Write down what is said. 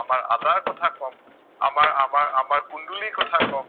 আমাৰ কুন্দুলিৰ কথা কম,